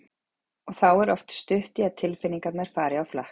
Og þá er oft stutt í að tilfinningarnar fari á flakk.